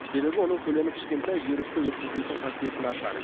себебі оның көлемі кішкентай вирусты өткізбейтін қасиеті нашар